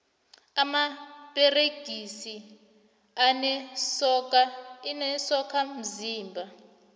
amaperegisi anezokha mzimba